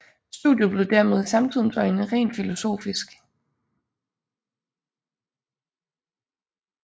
Studiet blev dermed i samtidens øjne rent filosofisk